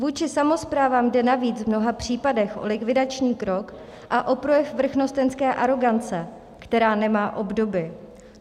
Vůči samosprávám jde navíc v mnoha případech o likvidační krok a o projev vrchnostenské arogance, která nemá obdoby.